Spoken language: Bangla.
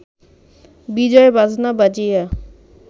বিজয় বাজনা বাজাইয়া